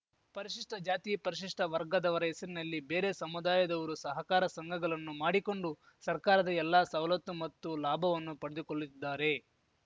ಪರಿಷಿಷ್ಠಜಾತಿಪರಿಷಿಷ್ಠವರ್ಗದವರ ಹೆಸರಿನಲ್ಲಿ ಬೇರೆ ಸಮುದಾಯದವರು ಸಹಕಾರ ಸಂಘಗಲನ್ನು ಮಾಡಿಕೊಂಡು ಸರ್ಕಾರದ ಎಲ್ಲಾ ಸವಲತ್ತು ಮತ್ತು ಲಾಭವನ್ನು ಪಡೆದುಕೊಲ್ಲುತ್ತಿದ್ದಾರೆ